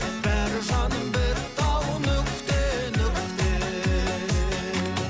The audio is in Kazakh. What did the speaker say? бәрі жаным бітті ау нүкте нүкте